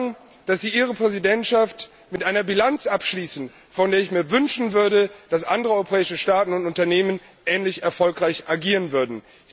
Man kann sagen, dass Sie Ihre Präsidentschaft mit einer Bilanz abschließen, von der ich mir wünschen würde, dass andere europäische Staaten und Unternehmen ähnlich erfolgreich agieren würden.